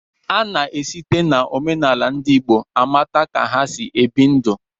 Ana-esite n'omenala ndị Igbo amata ka ha si ebi ndụ.